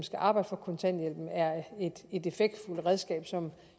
skal arbejde for kontanthjælpen er et effektfuldt redskab som